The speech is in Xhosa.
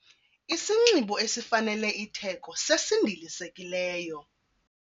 Isinxibo esifanele itheko sesindilisekileyo.